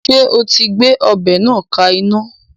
Ṣé o ti gbé ọbẹ̀ náà ka iná